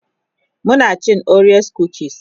muna cin orea kukis